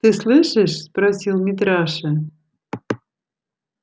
ты слышишь спросил митраша